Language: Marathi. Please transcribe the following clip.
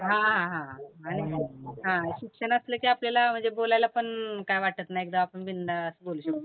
हा, हा, हा, हा आणि शिक हं शिक्षण असलं की आपल्याला म्हणजे बोलायलापण काही वाटत नाही एकदम आपण बिनधास्त बोलू शकतो